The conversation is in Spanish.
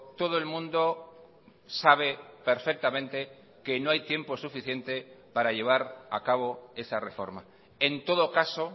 todo el mundo sabe perfectamente que no hay tiempo suficiente para llevar a cabo esa reforma en todo caso